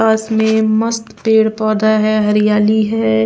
पास में मस्त पेड़ पौधा है हरियाली है।